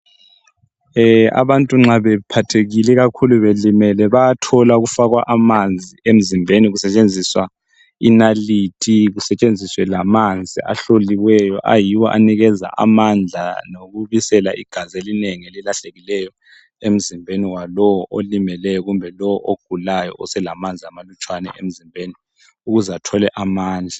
E! abantu nxa bephathekile ikakhulu belimele bayathola ukufakwa amanzi emzimbeni kusetshenziswa inalithi, kusetshenziswe lamanzi ahloliweyo ayiwo anikeza amandla lokubisela igazi elinengi elilahlekileyo emzimbeni walowo olimeleyo, kumbe lo ogulayo oselamanzi amalutshwana emzimbeni ukuze athole amandla.